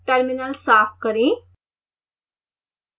terminal साफ करें